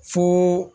Fo